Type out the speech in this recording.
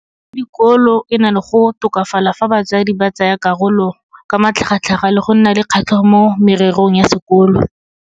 Tiro ya dikolo e na le go tokafala fa batsadi ba tsaya karolo ka matlhagatlhaga le go nna le kgatlhego mo mererong ya sekolo.